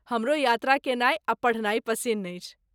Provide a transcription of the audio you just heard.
हमरो यात्रा केनाइ आ पढ़नाइ पसिन्न अछि।